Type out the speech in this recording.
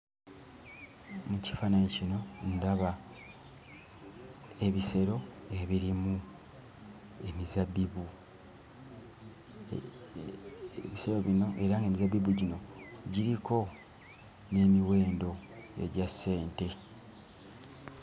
Mu kifaananyi kino ndaba ebisero ebirimu emizabbibu era ng'emizabbibu gino giriko n'emiwendo egya ssente.